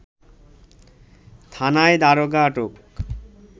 থানায় দারোগা আটক